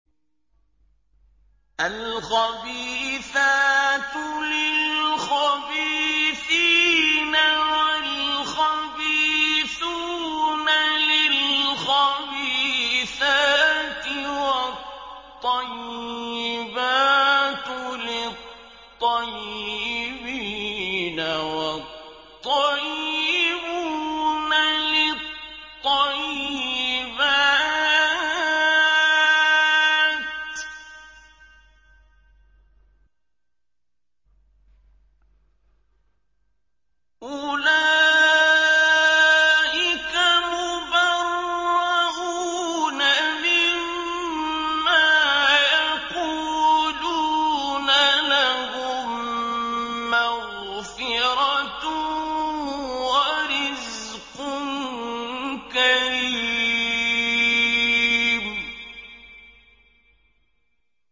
الْخَبِيثَاتُ لِلْخَبِيثِينَ وَالْخَبِيثُونَ لِلْخَبِيثَاتِ ۖ وَالطَّيِّبَاتُ لِلطَّيِّبِينَ وَالطَّيِّبُونَ لِلطَّيِّبَاتِ ۚ أُولَٰئِكَ مُبَرَّءُونَ مِمَّا يَقُولُونَ ۖ لَهُم مَّغْفِرَةٌ وَرِزْقٌ كَرِيمٌ